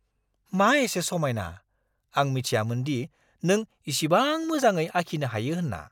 मा एसे समायना! आं मिथियामोन दि नों इसिबां मोजाङै आखिनो हायो होनना!